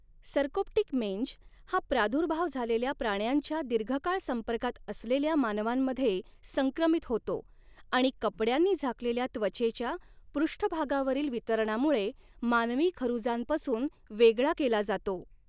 Sarcoptic mange हा प्रादुर्भाव झालेल्या प्राण्यांच्या दीर्घकाळ संपर्कात असलेल्या मानवांमध्ये संक्रमित होतो आणि कपड्यांनी झाकलेल्या त्वचेच्या पृष्ठभागावरील वितरणामुळे मानवी खरुजांपासून वेगळा केला जातो.